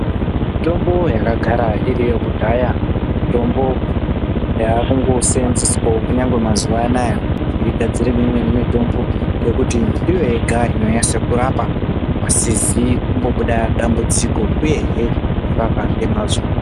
Mitombo yakagara iriyo kudhaya mitombo yakungo senzeswewo kunyangwe mazuva anaya tei gadzira imweni mitombo ngekuti ndiyo yega inonyase kurapa pasizi kumbo buda dambudziko uyehe kurapa nge mazvo.